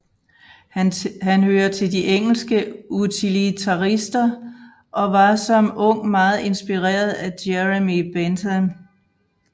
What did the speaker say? Han hører til de engelske utilitarister og var som ung meget inspireret af Jeremy Bentham